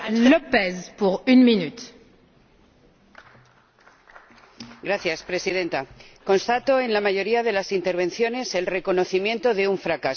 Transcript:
Señora Presidenta, constato, en la mayoría de las intervenciones, el reconocimiento de un fracaso.